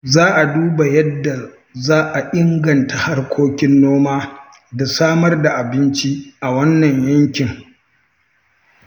Za a duba yadda za a inganta harkokin noma da samar da abinci a wannan yankin.